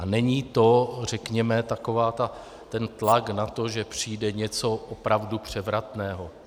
A není to, řekněme, takový ten tlak na to, že přijde něco opravdu převratného.